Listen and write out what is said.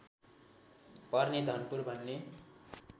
पर्ने धनपुर भन्ने